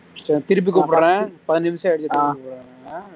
சரி திருப்பி கூப்பிடறேன் பதினஞ்சு நிமிஷம் ஆயிடுச்சு திருப்பி கூப்பிடறேன்